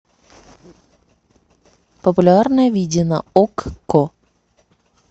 популярное видео на окко